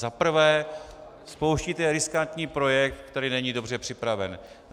Za prvé spouštíte riskantní projekt, který není dobře připraven.